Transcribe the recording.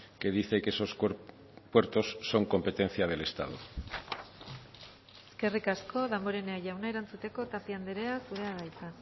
que dice que esos puertos son competencia del estado eskerrik asko damborenea jauna erantzuteko tapia andrea zurea da hitza